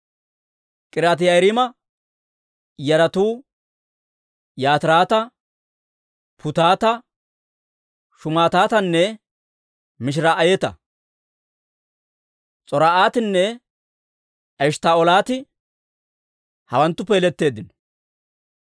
K'iriyaati-Yi'aariima yaratuu Yatirata, Puutata, Shumaatatanne Mishiraa'ata. S'or"atinne Eshttaa'oolati hawanttuppe yeletteeddino.